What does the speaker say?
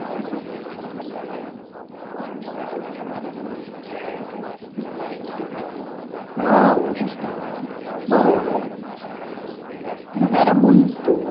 Essa infraestrutura, por exemplo, do bairro, porque hoje né tem um monte de prédio, hoje está tudo mudado, né? Ah hoje está bom eh Oque é que tinha ali Não era muito